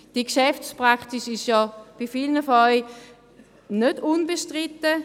Die Geschäftspraxis ist bei vielen von Ihnen nicht unbestritten.